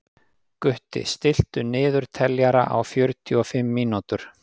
Gutti, stilltu niðurteljara á fjörutíu og fimm mínútur.